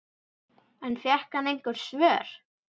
En fékk hann einhver svör?